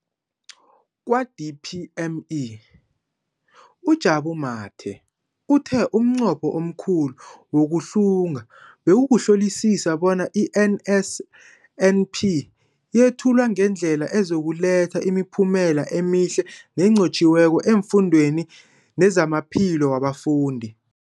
Kwa-DPME, uJabu Mathe, uthe umnqopho omkhulu wokuhlunga bekukuhlolisisa bona i-NSNP yethulwa ngendlela ezokuletha imiphumela emihle nenqotjhiweko efundweni nezamaphilo wabafundi.